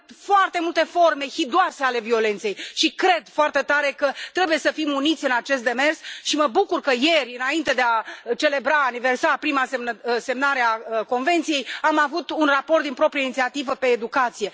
Avem foarte multe forme hidoase ale violenței și cred foarte tare că trebuie să fim uniți în acest demers și mă bucur că ieri, înainte de a aniversa semnarea Convenției, am avut un raport din proprie inițiativă pe educație.